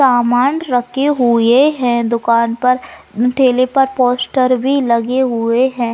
सामान रखे हुए है दुकान पर ठेले पर पोस्टर भी लगे हुए है।